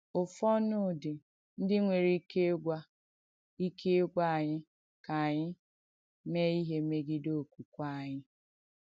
Ụ̀fọ̀nụ̀dì ndí nwèrè ìkè ìgwà ìkè ìgwà ànyị̣ ka ànyị̣ mèè ìhé mègidèrè òkwùkwè ànyị̣.